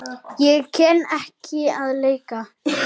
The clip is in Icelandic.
Ég kann ekki að leika.